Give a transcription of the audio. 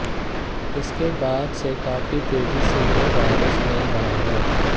इसके बाद से काफी तेजी से यह वायरस फैल रहा है